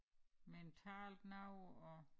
Mentalt noget og